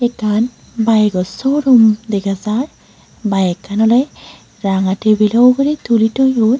otan biko show room dega jai bikkan ole ranga tabilo ugure tuli toyon.